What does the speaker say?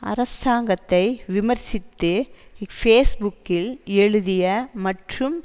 அரசாங்கத்தை விமர்சித்து ஃபேஸ் புக்கில் எழுதிய மற்றும்